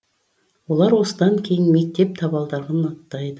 олар осыдан кейін мектеп табалдырығын аттайды